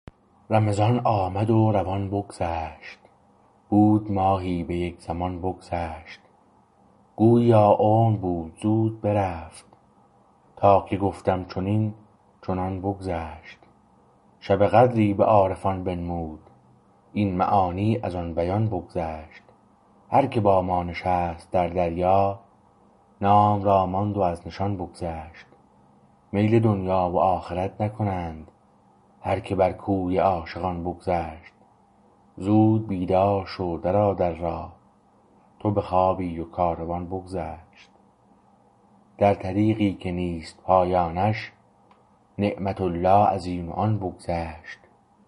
رمضان آمد و روان بگذشت بود ماهی به یک زمان بگذشت گوییا عمر بود زود برفت تا که گفتم چنین چنان بگذشت شب قدری به عارفان بنمود این معانی از آن بیان بگذشت هر که با ما نشست در دریا نام را ماند و از نشان بگذشت میل دنیا و آخرت نکند هر که بر کوی عاشقان بگذشت زود بیدار شو در آ در راه تو بخوابی و کاروان بگذشت در طریقی که نیست پایانش نعمت الله از این و آن بگذشت